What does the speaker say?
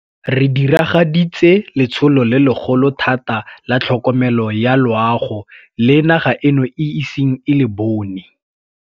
Re diragaditse letsholo le legolo thata la tlhokomelo ya loago le naga eno e iseng e le bone.